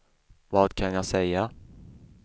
vad kan jag säga